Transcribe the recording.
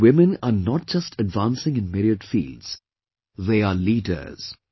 Today women are not just advancing in myriad fields; they are leaders